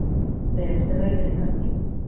Beðist er velvirðingar á því